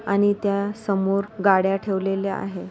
आणि त्या समोर गाड्या ठेवलेल्या आहे.